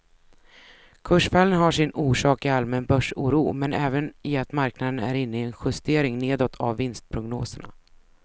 Kursfallen har sin orsak i allmän börsoro men även i att marknaden är inne i en justering nedåt av vinstprognoserna.